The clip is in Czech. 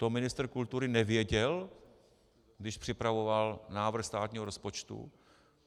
To ministr kultury nevěděl, když připravoval návrh státního rozpočtu?